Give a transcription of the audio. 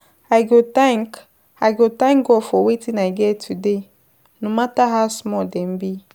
I go thank I go thank God for wetin I get today, no matter how small dem be.